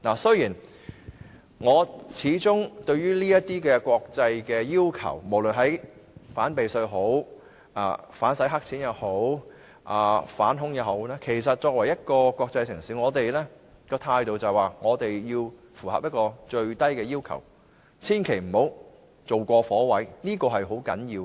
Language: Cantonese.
面對這些國際要求，無論是反避稅、反洗黑錢或反恐，香港作為一個國際城市，政府的態度應該是要符合最低要求，千萬不要做過火，這是很重要的。